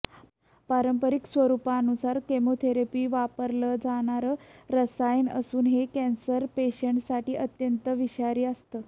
पारंपरिक स्वरूपानुसार केमोथेरपीत वापरलं जाणारं रसायन असून हे कॅन्सर पेशींसाठी अत्यंत विषारी असतं